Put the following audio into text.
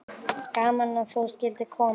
Gaman að þú skyldir koma.